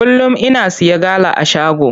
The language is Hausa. Kullum ina siya gala a shago.